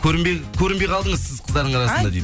көрінбе көрінбей қалдыңыз сіз қыздардың арасында деймін